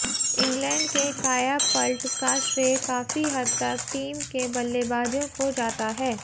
England के कायापल्ट का श्रेय काफी हद तक टीम के बल्लेबाजों को जाता है